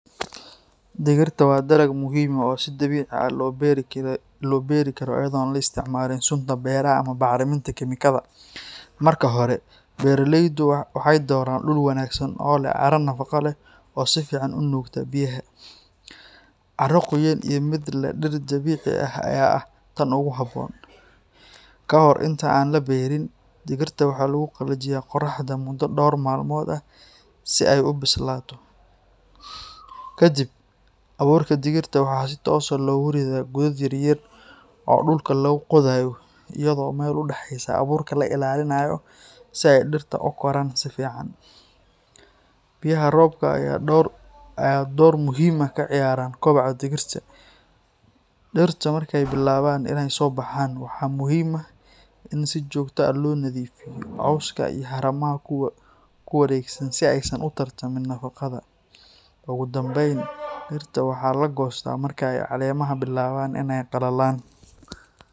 Digirta waa dalag muhiim ah oo si dabiici ah loo beeri karo iyadoo aan la isticmaalin sunta beeraha ama bacriminta kiimikada. Marka hore, beeraleydu waxay dooran dhul wanaagsan oo leh carro nafaqo leh oo si fiican u nuugta biyaha. Carro qoyan iyo mid leh dhir dabiici ah ayaa ah tan ugu habboon. Ka hor inta aan la beerin, digirta waxaa lagu qallajiyaa qorraxda muddo dhowr maalmood ah si ay u bislaato. Kadib, abuurka digirta waxaa si toos ah loogu riddaa godad yaryar oo dhulka lagu qodayo, iyadoo meel u dhaxeysa abuurka la ilaaliyo si ay dhirta u koraan si fiican. Biyaha roobka ayaa door muhiim ah ka ciyaara koboca digirta. Dhirta markay bilaabaan inay soo baxaan, waxaa muhiim ah in si joogto ah loo nadiifiyo cawska iyo haramaha ku wareegsan si aysan u tartamin nafaqada. Ugu dambeyn, digirta waxaa la goostaa marka ay caleemaha bilaabaan inay qallalaan.